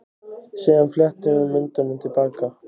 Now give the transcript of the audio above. Síðan fletti hún myndunum til baka.